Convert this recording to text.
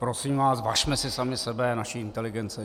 Prosím vás, važme si sami sebe, naší inteligence.